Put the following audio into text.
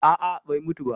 Aa, bai mutu ba.